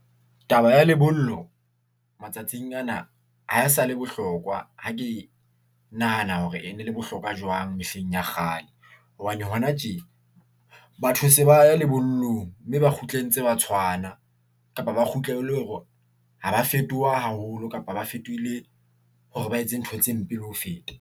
Taba ya lebollo matsatsing ana ha e sa le bohlokwa. Ha ke nahana hore e ne le bohlokwa jwang mehleng ya kgale, hobane hona tje. Batho se ba ya lebollong mme ba kgutle ntse ba tshwana kapa ba kgutle e le hore ha ba fetoha haholo, kapa ba fetohile hore ba etse ntho tse mpe le ho feta.